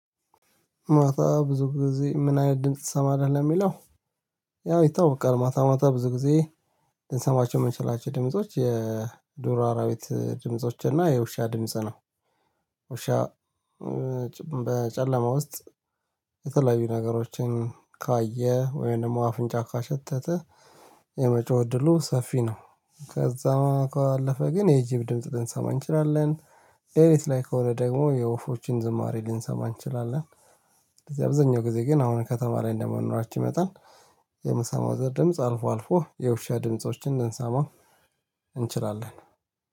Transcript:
ማታ ብዙ ጊዜ ምን አይነት ድምጽ ትሰማለህ ለሚለው? ያው ይታወቃል ማታ ማታ ብዙ ጊዜ ልንሰማቸው የምንችላቸው ድምጾች የዱር አራዊት ድምጾች እና የውሻ ድምጽ ነው። ውሻ በጨለማ ውስጥ የተለያዩ ነገሮችን ካየ ወይም ደግሞ አፍንጫ ካሸተተ የመጮህ እድሉ ሰፊ ነው። ከዛ ካለፈ ግን የጅብ ድምጽ ልንሰማ እንችላለን። ሌሊት ላይ ከሆነ ደግሞ የወፎችን ዝማሬ ልንሰማ እንችላለን። አብዛኛው ጊዜ ግን አሁን ከተማ ላይ እንደመኖራችን መጠን የምሰማው ድምጽ አልፎ አልፎ የውሻ ድምፆችን ልንሰማ እንችላለን